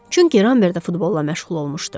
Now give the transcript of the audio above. Çünki Rambert də futbolla məşğul olmuşdu.